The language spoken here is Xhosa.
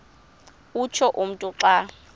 utsho umntu xa